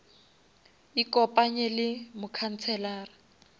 ikopanye le mokhanselara